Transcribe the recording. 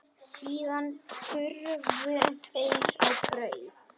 Síðan hurfu þeir á braut.